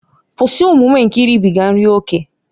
Kwụsị omume nke iribiga nri ókè!